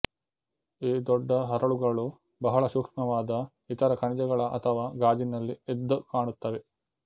ಈ ದೊಡ್ಡ ಹರಳುಗಳು ಬಹಳ ಸೂಕ್ಷ್ಮವಾದ ಇತರ ಖನಿಜಗಳ ಅಥವಾ ಗಾಜಿನಲ್ಲಿ ಎದ್ದುಕಾಣುತ್ತವೆ